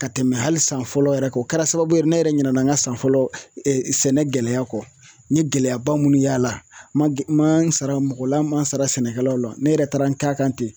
Ka tɛmɛ hali san fɔlɔ yɛrɛ kɛ o kɛra sababu ye ne yɛrɛ ɲina na n ka san fɔlɔ sɛnɛ gɛlɛya kɔ n ye gɛlɛyaba minnu y'a la ma n sara mɔgɔ la ma sara sɛnɛkɛlaw la ne yɛrɛ taara n kɛ a kan ten